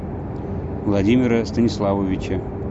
владимира станиславовича